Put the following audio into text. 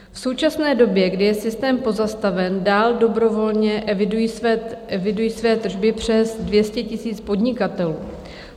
V současné době, kdy je systém pozastaven, dál dobrovolně eviduje své tržby přes 200 000 podnikatelů.